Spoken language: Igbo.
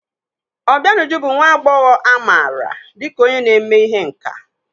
Obianuju bụ nwa agbọghọ amaara dịka onye na-eme ihe nkà.